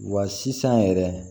Wa sisan yɛrɛ